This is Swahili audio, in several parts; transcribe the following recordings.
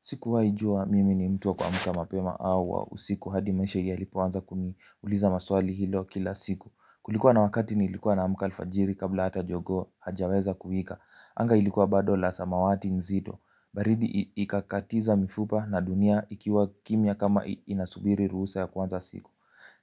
Sikuwahijua mimi ni mtu wa kuamka mapema au wa usiku hadi maisha yalipoanza kuniuliza maswali hilo kila siku. Kulikuwa na wakati nilikuwa namka alfajiri kabla hata jogoo hajaweza kuwika. Anga ilikuwa bado la samawati nzito. Baridi ikakatiza mifupa na dunia ikiwa kimya kama inasubiri ruhusa ya kuanza siku.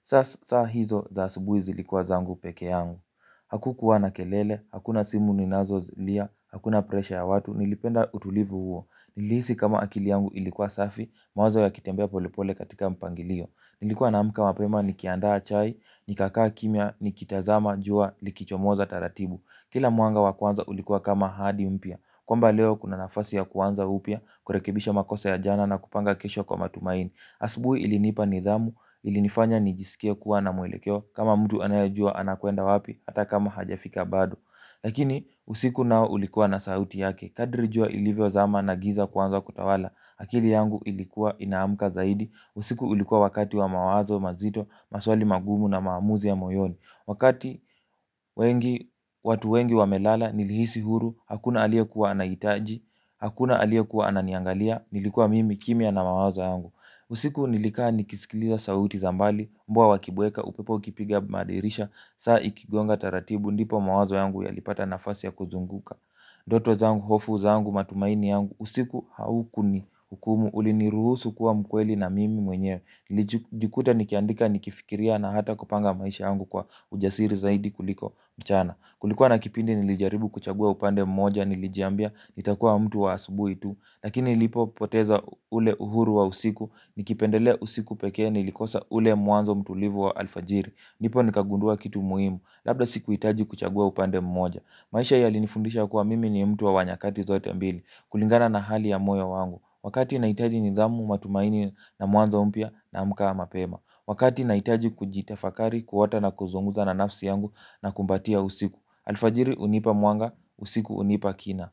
Sasa hizo za asubuhi zilikuwa zangu peke yangu. Hakukuwa na kelele, hakuna simu ninazolia, hakuna presha ya watu, nilipenda utulivu huo. Nilihisi kama akili yangu ilikuwa safi, mawaza yakitembea polepole katika mpangilio. Nilikuwa naamka mapema nikiandaa chai, nikakaa kimya, nikitazama jua likichomoza taratibu. Kila mwanga wa kwanza ulikuwa kama ahadi mpya kwamba leo kuna nafasi ya kuanza upya, kurekebisha makosa ya jana na kupanga kesho kwa matumaini. Asubuhi ilinipa nidhamu, ilinifanya nijisikie kuwa na mwelekeo, kama mtu anayejua anakwenda wapi, hata kama hajafika bado. Lakini usiku nao ulikuwa na sauti yake. Kadri jua ilivyozama na giza kuanza kutawala, akili yangu ilikuwa inaamka zaidi. Usiku ulikuwa wakati wa mawazo mazito, maswali magumu na maamuzi ya moyoni. Wakati wengi watu wengi wamelala, nilihisi huru, hakuna aliyekuwa anahitaji, hakuna aliyekuwa ananiangalia. Nilikuwa mimi kimya na mawazo yangu. Usiku nilikaa nikisikiliza sauti za mbali. Mbwa wakibweka upepo ukipiga madirisha. Saa ikigonga taratibu ndipo mawazo yangu yalipata nafasi ya kuzunguka. Ndoto zangu, hofu zangu, matumaini yangu, usiku haukunihukumu uliniruhusu kuwa mkweli na mimi mwenyewe. Nilijikuta nikiandika nikifikiria na hata kupanga maisha yangu kwa ujasiri zaidi kuliko mchana. Kulikuwa na kipindi nilijaribu kuchagua upande mmoja nilijiambia nitakuwa mtu wa asubuhi tu. Lakini nilipopoteza ule uhuru wa usiku, nikipendelea usiku pekee, nilikosa ule mwanzo mtulivu wa alfajiri. Ndipo nikagundua kitu muhimu, labda sikuhitaji kuchagua upande mmoja. Maisha yalinifundisha kuwa mimi ni mtu wa nyakati zote mbili, kulingana na hali ya moya wangu. Wakati nahitaji nidhamu, matumaini na mwanzo mpya naamka mapema. Wakati naitaji kujitafakari kuota na kuzungumza na nafsi yangu nakumbatia usiku. Alfajiri hunipa mwanga, usiku hunipa kina.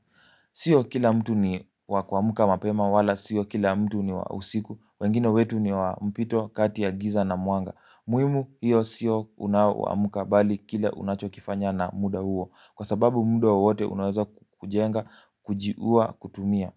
Sio kila mtu ni wa kuamka mapema wala sio kila mtu ni wa usiku, wengine wetu ni wa mpito kati ya giza na mwanga. Muhimu hiyo sio unaoamka bali kile unachokifanya na muda huo, kwa sababu muda wowote unaweza kujenga, kujiuwa, kutumia.